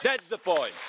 That is the point.